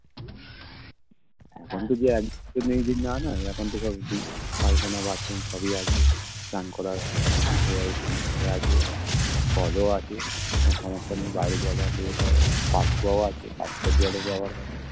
এখন তো যে এখন তো পায়খানা Bathroom সবই আছে স্নান করার আছে Call ও আছে কোনো সমস্যা নেই বাইরে যেতে হবেনা কাকরাও আছে কাকড়া জলে যাওয়ার মতন